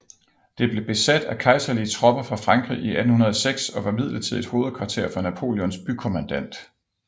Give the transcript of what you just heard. Det blev besat af kejserlige tropper fra Frankrig i 1806 og var midlertidigt hovedkvarter for Napoleons bykommandant